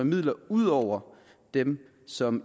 midler ud over dem som